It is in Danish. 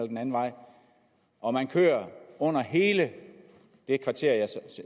den anden vej og man kører under hele det kvarter